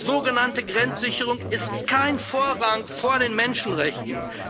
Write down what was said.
Sogenannte Grenzsicherung genießt keinen Vorrang vor den Menschenrechten.